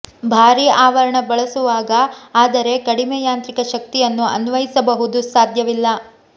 ಭಾರೀ ಆವರಣ ಬಳಸುವಾಗ ಆದರೆ ಕಡಿಮೆ ಯಾಂತ್ರಿಕ ಶಕ್ತಿಯನ್ನು ಅನ್ವಯಿಸಬಹುದು ಸಾಧ್ಯವಿಲ್ಲ